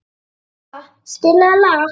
Filippa, spilaðu lag.